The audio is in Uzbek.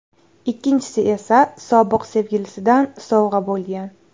Ikkinchisi esa sobiq sevgilisidan sovg‘a bo‘lgan.